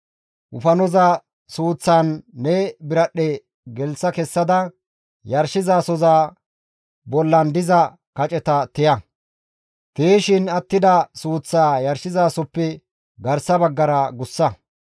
Wofanoza suuththan ne biradhdhe gelththa kessada, yarshizasoza bollan diza kaceta tiya; tiyishin attida suuththaa yarshizasozappe garsa baggara gussa.